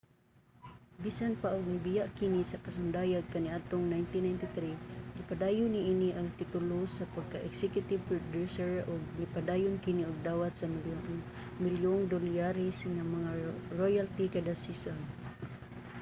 bisan pa og nibiya kini sa pasundayag kaniadtong 1993 gipadayon niini ang titulo sa pagka-executive producer ug nipadayon kini og dawat sa milyonmilyong dolyares nga mga royalty kada season